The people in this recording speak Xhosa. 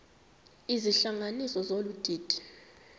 izihlanganisi zolu didi